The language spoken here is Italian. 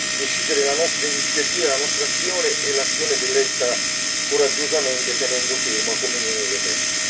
decidere la nostra iniziativa e la nostra azione e l'azione a cui Lei sta coraggiosamente tenendo fede come Unione europea.